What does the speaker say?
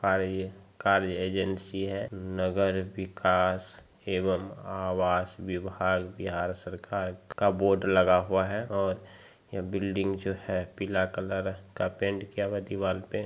car agency है नगर विकाश एवं आवास विभाग बिहार सरकार का बोर्ड लगा हुआ है और यह बिल्डिंग जो है पीला कलर का पेंट किया हुआ है दीवाल पे ----